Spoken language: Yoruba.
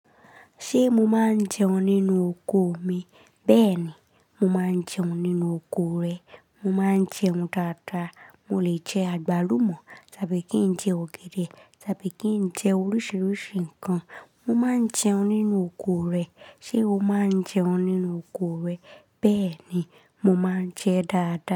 Ṣé mo máa ń jẹun nínú oko mi? Bẹ́ẹ̀ ni, mo máa ń jẹun nínú oko rẹ. Mo máa ń jẹun tata. Mo lè jẹ àgbálùmọ́ tàbí kí n jẹ ọ̀gẹ̀dẹ̀ tàbí kí n jẹ oríṣiríṣi nǹkan. Mo máa ń jẹun nínú oko rẹ. Ṣé o máa ń jẹun nínú oko rẹ? Bẹ́ẹ̀ ni, mo máa ń jẹ dáadáa.